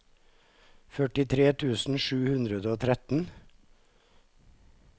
førtitre tusen sju hundre og tretten